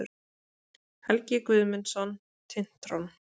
Helgi Guðmundsson, Tintron.